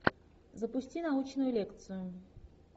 запусти научную лекцию